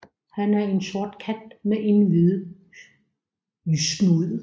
Han er en sort kat med en hvide snude